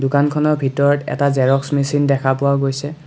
দোকানখনৰ ভিতৰত এটা জেৰস্ক মেচিন দেখা পোৱা গৈছে।